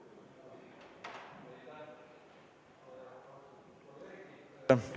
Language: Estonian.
Lugupeetud kolleegid!